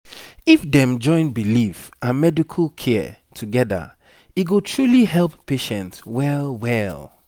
if dem join belief and medical care together e go truly help patient well well